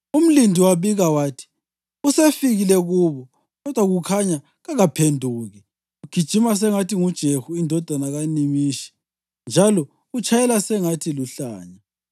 Umlindi wabika wathi: “Usefikile kubo, kodwa kukhanya kaphenduki. Ugijima sengathi nguJehu indodana kaNimishi njalo utshayela sengathi luhlanya.”